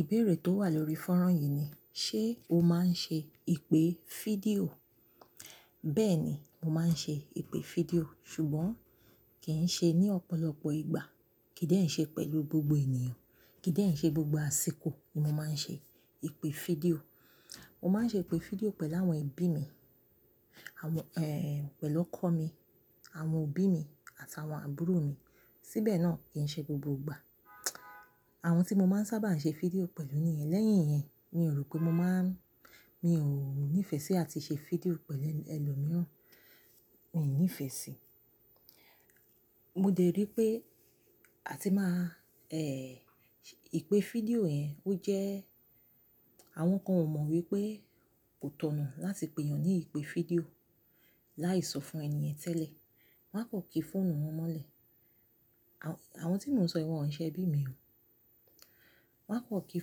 Ìbéèrè tó wà lórí fọ́rán yìí ni, ṣe o máa ń ṣe ìpè fídíò? Bẹ́ẹ̀ ni, mo máa ń ṣe ìpè fídíò, ṣùgbọ́n kì í ṣe ní ọ̀pọ̀lọpọ̀ ìgbà, kì í dẹ́n ṣe pẹ̀lú gbogbo ènìyàn, kì í dẹ́ n ṣe gbogbo àsìkò ni mo máa ń ṣe ìpè fídíò. Mo máa ń ṣe ìpè fídíò pẹ̀lú àwọn ẹbí mi, àwọn, pẹ̀lú ọkọ mi, àwọn òbí mi àtàwọn àbúrò mi. Síbẹ̀ náà kì í ṣe gbogbo ìgbà. Àwọn tí mo máa ń sábà ṣe fídíò pẹ̀lú niyẹn. Lẹ́yìn yẹn mi ò rò pé mo máa ń, mi ò ní ìfẹ́ sí àti ṣe fídíò pẹ̀lú ẹlòmíràn. Mi ò ní ìfẹ́ sí. Mo dẹ̀ rí pé àti máa, ìpè fídíò yẹn ó jẹ́ àwọn kan ò mọ̀ wípé kò tọ̀nà láti pè ènìyàn ní ìpè fídíò láì sọ fún ènìyen tẹ́lẹ̀. Wan á kò kí fóònù wọn mọ́lẹ̀. Àwọn, àwọn tí mò ń sọ wọn ń ìṣe ẹbí mi o. Wọ́n á kò kí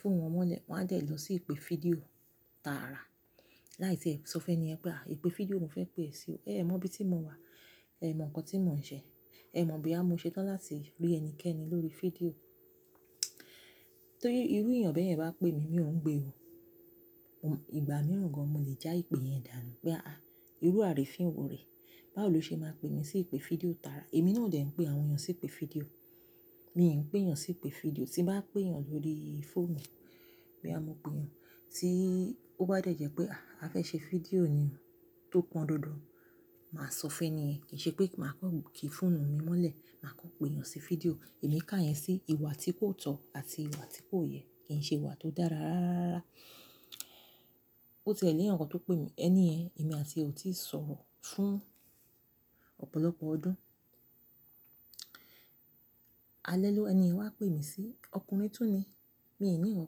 fóònù wọn mọ́lẹ̀, wọ́n á dẹ́ lọ sí ìpè fídíò tààrà láì tí ẹ́ sọ fún ẹni yẹn pé, ìpè fídíò mo fẹ́ pè sí o. Ẹ̀ẹ̀ mọ bí tí mo wà, ẹ mọ nǹkan tí mò ń ṣe, ẹ mọ̀ boya mo ṣe tán láti rí ẹnikẹ́ni lórí fídíò. Torí irú ènìyàn bẹ́ẹ̀ yẹn bá pè mí, mi ò ń gbé o. Ìgbà mìíràn gan mo lè já ìpè yẹn dànù pé ah aj, irú àrifiń wò rẹ. Báwo ló ṣe máa pè mí sí ìpè fídíò tààrà? Èmi náà ò dẹ̀ ń pè àwọn èyàn sí ìpè fídíò. Mi ò ń pè èyàn sí ìpè fídíò. Tí bá pè yàn lórí fóònù pé boua mo pè wan, tí ó bá dẹ̀ jẹ́ pé a, a fẹ́ ṣe fídíò ni o tó pọn dandan, màá sọ fún ẹni ẹ̀, kì í ṣe pé màá kò kí fóònù mi mọ́lẹ̀. Màá kọ́ pè ènìyàn sí fídíò. Èmi ká yẹn sí ìwà tí kò tọ̀ àti ìwà tí kò yẹ, kì í ṣe ìwà tó dára rárárá. Ó ti ẹ lẹ́yankan tó pè mí, ẹni yẹn èmi àti ọ tíì sọ̀rọ̀ fún ọ̀pọ̀lọpọ̀ ọdún. Alẹ́ ló ẹni yẹn wá pè mí sí, ọkùnrin tún ni. Mi ò ní nkan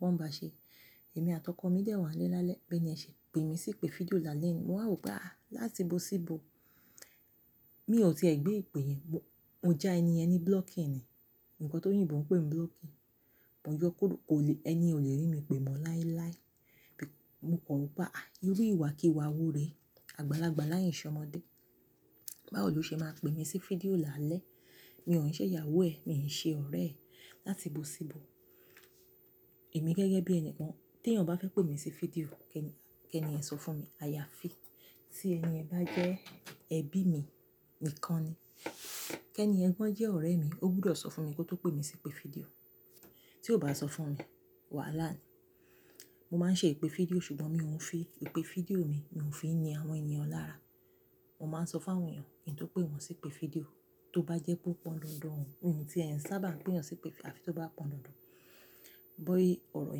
kan ba ṣe. Èmi àtàkọ mi dẹ́ wan lẹ́ lálẹ́ beni yen ṣe pè mí sí ìpè fídíò lálẹ́ nìí. Mo wá rò pé a, láti bo sí bo, mi ò tiẹ̀ gbé ìpè yẹn. Mo já ẹni yẹn ní blocking ni. Ǹkan tó yìnbó ń pè mi blocking. Mo yọ kuró kó le, ẹni ten ò lè rí mi pẹ̀mọ́ láíláí. Mo kọ̀ rọ́ pé ah ah, irú ìwà kí wà wo re? Àgbàlagbà láyìn ìṣọmọdé. Báwo ló ṣe máa pè mí sí fídíò lálẹ́? Mi ò ní ṣe ìyàwó ẹ, mi ò ní ṣe ọ̀rẹ́ ẹ. Láti bo sí bo, èmi gẹ́gẹ́ bí ẹni kan tí ẹyan bá fẹ́ pè mí sí fídíò, kẹ́ni, kẹ́ni ẹ sọ fún mi. A ya fi. Tí ẹni yẹn bá jẹ́ ẹbí mi nìkan ni. Kẹ́ni gan jẹ́ ọ̀rẹ́ mi, ó gbúdọ̀ sọ fún mi kó tó pè mí sí ìpè fídíò. Tí ó bá sọ fún mi, wàhálà ni. Mo máa ń ṣe ìpè fídíò ṣùgbọ́n mi ò ń fi ìpè fídíò mi, mi ò ń fi ni àwọn ènìyàn lára. Mo máa ń sọ fún àwọn ènìyàn kí n tó pè wọn sí ìpè fídíò, tó bá jẹ́ pé ó pọn dandan, òun, òun tí ẹ̀ ń sábà ń pè yẹn sí ìpè fídíò àfi tó bá pọn dandan. Bó orọ̀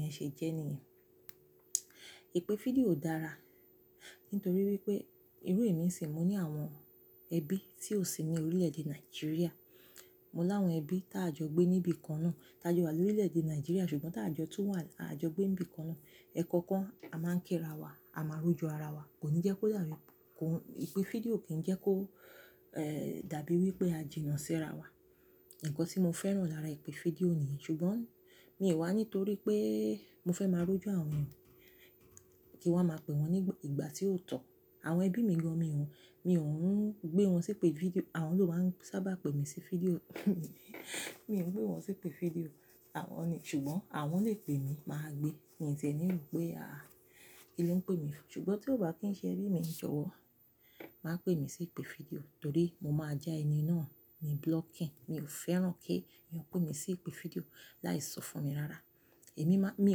yẹn ṣe jẹ́ nì yen. Ìpè fídíò dára nítorí wípé irú èmi sì ń mo ní àwọn ẹbí tí ò sí ní orílẹ̀-èdè Nigeria. Mo láwọn ẹbí tí a jọ gbé níbi kan náà. Táj wa lórílẹ̀-èdè Nigeria ṣùgbọ́n tá a jọ tú wà, a jọ gbé níbi kan náà. Ẹ̀ẹ̀kọ̀kan a máa ń kíra wa, a máa ń róju ara wa. Kò ní jẹ́ kó dàbí, kò ń, ìpè fídíò kì í jẹ́ kó, eh, dàbí wípé a jìnnà sí ara wa. Ǹkan tí mo fẹ́ràn lára ìpè fídíò ni yìí, ṣùgbọ́n mi ò wá nítorí pé mo fẹ́ máa róju àwọn ènìyàn kí wọ́n máa pe wọn ní ìgbà tí ó tọ̀. Àwọn ẹbí mi gan mi ò ń, mi ò ń gbé wọn sí ìpè fídíò. Àwọn ló máa ń sábà pè mí sí fídíò. Mi ò ń pé wọn sí ìpè fídíò. Àwọn ni, ṣùgbọ́n àwọn lè pè mí, màá gbé. Mi tiẹ ni rò pé a, kíni ó ń pè mi fún? Ṣùgbọ́n tí ó bá kì í ṣe ẹbí mi jọ̀wọ́, má pè mí sí ìpè fídíò torí mo máa já ẹni náà ní blocking. Mi ò fẹ́ràn kí ènìyàn pè mí sí ìpè fídíò láì sọ fún mi rárá. Èmi má, mi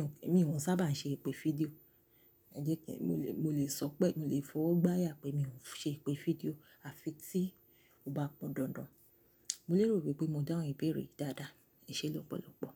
ò ń, èmi ò ń sábà ń ṣe ìpè fídíò. Ǹjẹ́ kí, mo lè, mo lè sọ pé, mo lè fọwọ́ gbá yà pé mi ò ń ṣe ìpè fídíò àfi tí ó bá pọn dandan. Mo lérò wípé mo dáhun ìbéèrè dáadáa. Ìṣe lọ́pọ̀lọ́pọ̀.